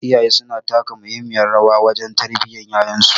Iyaye suna taka muhimmiyar rawa wajen tarbiyyar yayansu